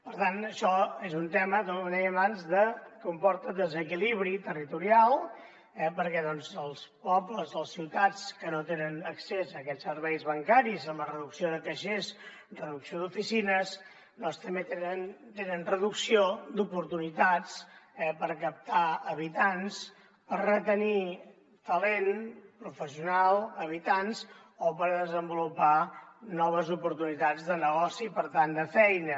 per tant això és un tema com deia abans que comporta desequilibri territorial perquè doncs els pobles les ciutats que no tenen accés a aquests serveis bancaris amb la reducció de caixers reducció d’oficines també tenen reducció d’oportunitats per captar habitants per retenir talent professional habitants o per desenvolupar noves oportunitats de negoci i per tant de feina